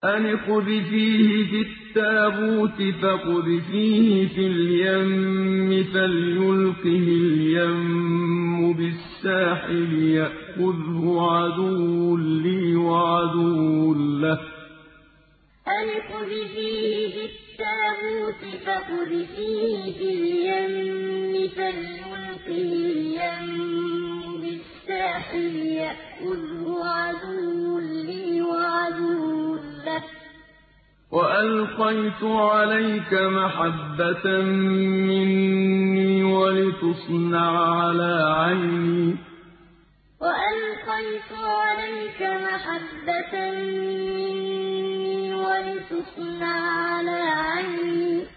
أَنِ اقْذِفِيهِ فِي التَّابُوتِ فَاقْذِفِيهِ فِي الْيَمِّ فَلْيُلْقِهِ الْيَمُّ بِالسَّاحِلِ يَأْخُذْهُ عَدُوٌّ لِّي وَعَدُوٌّ لَّهُ ۚ وَأَلْقَيْتُ عَلَيْكَ مَحَبَّةً مِّنِّي وَلِتُصْنَعَ عَلَىٰ عَيْنِي أَنِ اقْذِفِيهِ فِي التَّابُوتِ فَاقْذِفِيهِ فِي الْيَمِّ فَلْيُلْقِهِ الْيَمُّ بِالسَّاحِلِ يَأْخُذْهُ عَدُوٌّ لِّي وَعَدُوٌّ لَّهُ ۚ وَأَلْقَيْتُ عَلَيْكَ مَحَبَّةً مِّنِّي وَلِتُصْنَعَ عَلَىٰ عَيْنِي